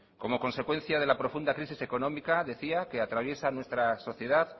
como consecuencia de la profunda crisis económica decía que atraviesa nuestra sociedad